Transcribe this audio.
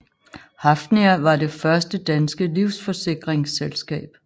Hafnia var det første danske livsforsikringsselskab